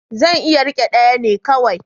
Zan iya rike ɗaya ne kawai.